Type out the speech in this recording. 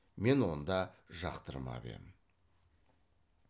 мен онда жақтырмап ем